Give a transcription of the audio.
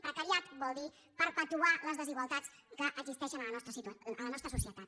precarietat vol dir perpetuar les desigualtats que existeixen en la nostra societat